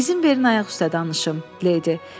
İzin verin ayaq üstə danışım, Leydi.